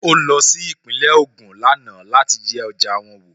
Ó lọ sí Ìpínlẹ̀ Ògùn lánàá láti yẹ ọjà wọn wò